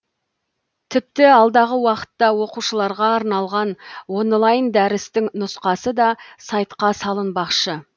тіпті алдағы уақытта оқушыларға арналған онлайн дәрістің нұсқасы да сайтқа салынбақшы